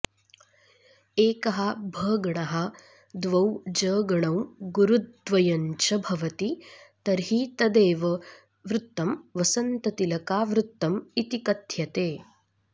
एकः भगणः द्वौ जगणौ गुरुद्वयञ्च भवति तर्हि तदेव वृत्तं वसन्ततिलकावृत्तम् इति कथ्यते